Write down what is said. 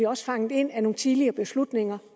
også fanget ind af nogle tidligere beslutninger